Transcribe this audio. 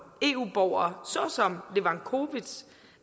eu borgere såsom levakovic